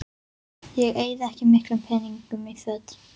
Ég eyði ekki miklum peningum í föt